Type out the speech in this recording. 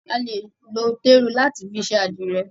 A lè lo téru láti fi ṣe àdìrẹ̀.